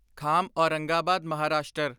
ਖਾਮ Aurangabad Maharashtra